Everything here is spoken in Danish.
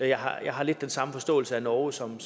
jeg har lidt den samme forståelse af norge som